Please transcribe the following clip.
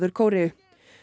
Kóreu